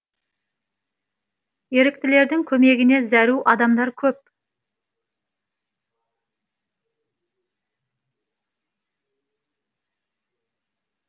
еріктілердің көмегіне зәру адамдар көп